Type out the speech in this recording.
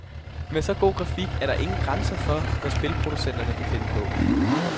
Med så god grafik er der ingen grænser for, hvad spilproducenterne kan finde på.